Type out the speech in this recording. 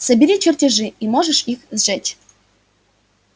собери чертежи и можешь их сжечь